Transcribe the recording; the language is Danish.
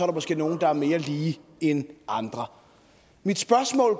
måske nogle der er mere lige end andre mit spørgsmål